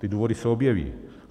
Ty důvody se objeví.